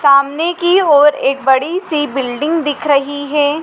सामने की ओर एक बड़ी सी बिल्डिंग दिख रही है।